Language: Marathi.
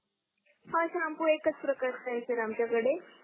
हा शॅम्पू एकच प्रकारच्या आहे सर आमच्या